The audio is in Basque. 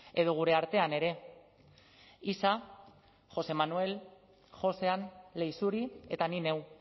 edo gure artean ere isa josé manuel josean leixuri eta ni neu